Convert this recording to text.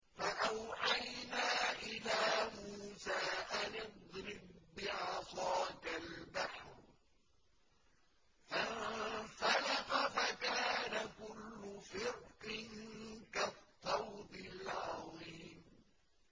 فَأَوْحَيْنَا إِلَىٰ مُوسَىٰ أَنِ اضْرِب بِّعَصَاكَ الْبَحْرَ ۖ فَانفَلَقَ فَكَانَ كُلُّ فِرْقٍ كَالطَّوْدِ الْعَظِيمِ